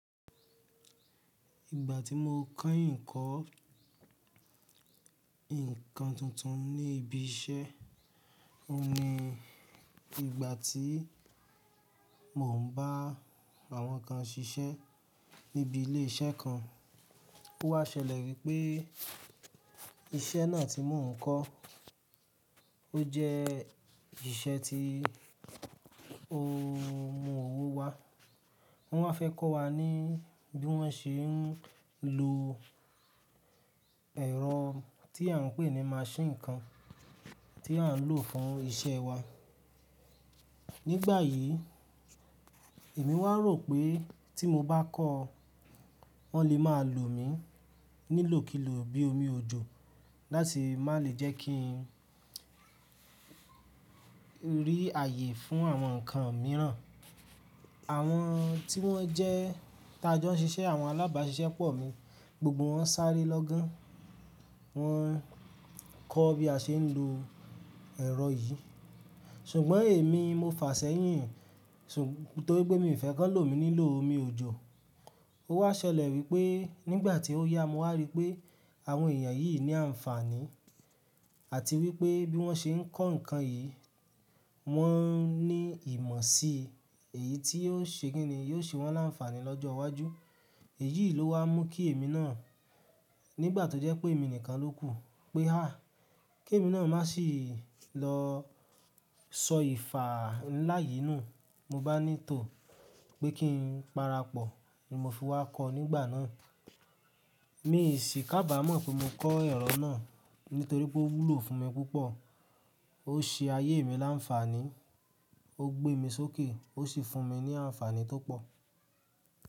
Ìgbà tí mo keyin kọ́, nkan tuntun ní ibi iṣẹ́, oun ni, ìgbà tí mò ń bá àwọn kan ṣiṣẹ́ níbi ilé iṣẹ́ kan. Ó wá ṣẹlẹ̀ wípé iṣẹ́ náà tí mò ń kọ́, ó jẹ́ ìṣẹ́ tí ó mú owó wá. Wọ́n wá fẹ́ kọ́ wa ní bí wọ́n ṣe ń lo ẹ̀rọ tí à ń pè ní máṣíìnì kan tí à ń lò fún iṣẹ́ wa. Nígbà yìí, èmi wá rò pé tí mo bá kọ́, wọ́n lè máa lò mi nílò kilò bí omi òjò láti má lè jẹ́ kí n rí ààyè fún àwọn ǹkan mìíràn. Àwọn tí wọ́n jẹ́ ta jọ ń ṣiṣẹ́, àwọn alábáṣiṣẹ́ pọ̀ mi, gbogbo wọn sáré lọ́gán, wọ́n kọ́ bí a ṣe ń lo ẹ̀rọ yìí. Ṣùgbọ́n èmi mo fàṣẹ́yìn, torípé mi ò fẹ́ kí wọ́n lò mi nílò omi òjò. Ó wá ṣẹlẹ̀ wípé nígbà tí ó yá, mo wá rí pé àwọn èèyàn yìí ní àǹfààní àti wípé bí wọ́n ṣe ń kọ́ ǹkan yìí, wọ́n ní ìmọ̀ si, èyí tí yóò ṣe kíni yóò ṣe wọ́n làǹfààní lọ́jọ́ iwájú. Èyí ló wá mú kí èmi náà, nígbà tó jẹ́ pé èmi nìkan ló kù pé há! Kí èmi náà má sì lọ sọ ìfà ǹlá yìí nù, mo bá ní tò pé kí n parapọ̀ ni mo fi wá kọ́ nígbà náà. Mi sì kàbàámọ̀ pé mo kọ́ ẹ̀rọ náà nítorí pé ó wúlò fún mi púpọ̀, ó ṣe ayé mi láǹfààní, ó gbé mi sókè, ó sì fún mi ní àǹfààní tó pọ̀.